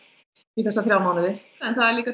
í þessa þrjá mánuði en það líka